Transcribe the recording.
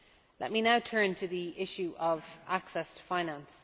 Let me now turn to the issue of access to finance.